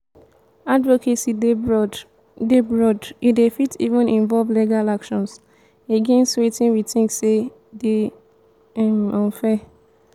advocacy dey broad dey broad e dey fit even involve legal action against wetin we think sey dey um unfair